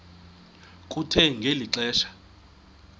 kuthe ngeli xesha